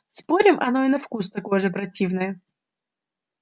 спорим оно и на вкус такое же противное